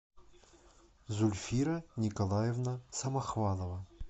зульфира николаевна самохвалова